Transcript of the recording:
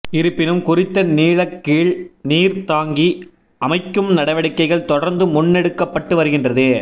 இருப்பினும் குறித்த நீலக்கீழ் நீர் தாங்கி அமைக்கும் நடவடிக்கைகள் தொடர்ந்து முன்னெடுக்கப்பட்டு வருகின்றது